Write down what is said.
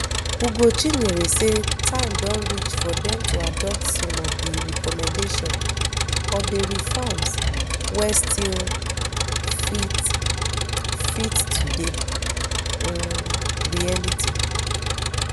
ugochinyere say time don reach for dem to adopt some of di recommendation of di reforms wey still fit fit today um reality